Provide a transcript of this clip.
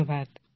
ধন্যবাদ